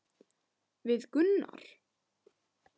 Við Gunnar?